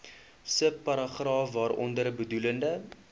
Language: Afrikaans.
subparagraaf waaronder bedoelde